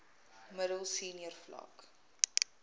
middel senior vlak